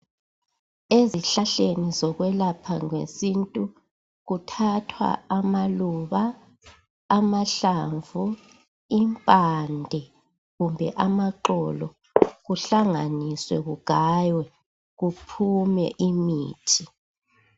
Ezihlahleni zokwelaphela ngesintu kuthathwa amaluba amahlamvu impande kumbe amaxolo kuhlanganiswe kugaywe kuphume imithi.